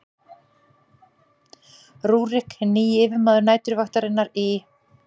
rúrík hinn nýji yfirmaður næturvaktarinnar í